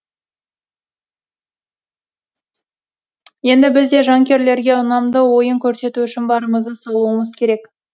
енді біз де жанкүйерлерге ұнамды ойын көрсету үшін барымызды салуымыз керек